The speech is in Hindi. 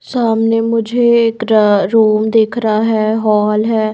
सामने मुझे एक र रूम दिख रहा है हॉल है।